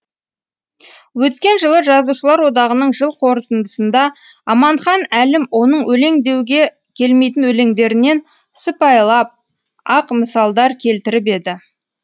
өткен жылы жазушылар одағының жыл қортындысында аманхан әлім оның өлең деуге келмейтін өлеңдерінен сыпайылап ақ мысалдар келтіріп еді